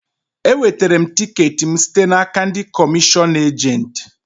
E wetere m tiket m site n'aka ndị komishion ejent